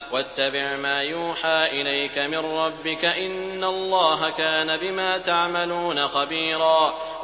وَاتَّبِعْ مَا يُوحَىٰ إِلَيْكَ مِن رَّبِّكَ ۚ إِنَّ اللَّهَ كَانَ بِمَا تَعْمَلُونَ خَبِيرًا